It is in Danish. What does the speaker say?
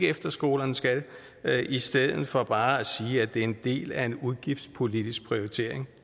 efterskolerne skal i stedet for bare at sige at det er en del af en udgiftspolitisk prioritering